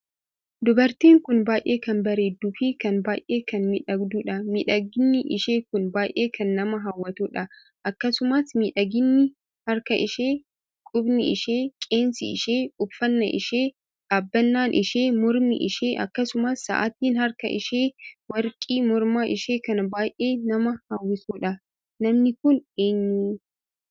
Dubartiin kun baay'ee kan bareedduu fi kan baay'ee kan miidhagduudha. miidhaginni ishee kun baay'ee kan nama hawwattudha. akkasumas miidhaginni harka ishee, qubni ishee, qeensi ishee, uffannaan ishee, dhaabbannaan ishee, mormii ishee, akkasumas saa'atiin harka ishee, warqii morma ishee kan baay'ee nama hawwisiisuudha. namni Kun eenyu?